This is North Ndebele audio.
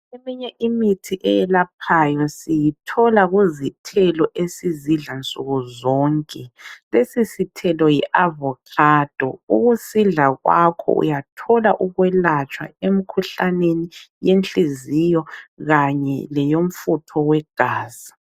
Eminye imithi eyelaphayo siyithola kuzothelo esizidla nsukuzonke. Lesi sithelo yiAvocado. Ukusidla kwakho uyathola ukwelatshwa emikhuhlaneni yenhliziyo kanye leyomfutho wegazi.